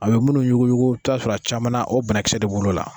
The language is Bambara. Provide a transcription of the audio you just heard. A bi minnu yuguyugu i bi taa sɔrɔ a caman o banakisɛ de b'olu la.